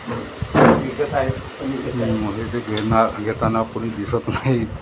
मौजे ते घेणारं घेतांना कोणी दिसत नाही.